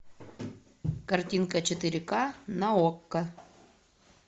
картинка четыре к на окко